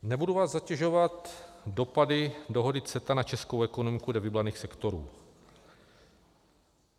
Nebudu vás zatěžovat dopady dohody CETA na českou ekonomiku dle vybraných sektorů.